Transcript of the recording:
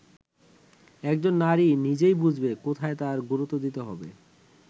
একজন নারী নিজেই বুঝবে কোথায় তার গুরুত্ব দিতে হবে”।